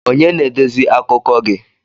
Onye na-edezi akụkọ gi?